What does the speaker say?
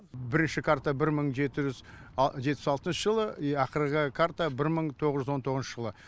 бірінші карта бір мың жеті жүз жетпіс алтыншы жылы ақырғы карта бір мың тоғыз жүз он тоғызыншы жылғы